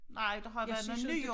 Nej der har været noget ny